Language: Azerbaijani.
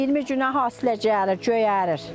Bir 20 günə hasilə gəlir, göyərir.